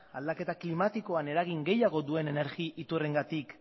aldaketa klimatikoan eragin gehiago duen energia iturriengatik